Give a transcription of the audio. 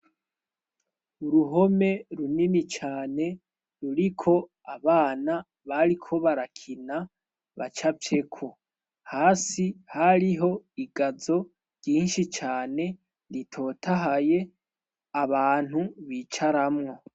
Uruhome runini cane ruriko abana bariko barakina baca vyeko hasi hariho igazo ryinshi cane ritotahaye abantu bicaramwo.